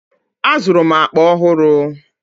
Azụrụ m akpa ọhụrụ.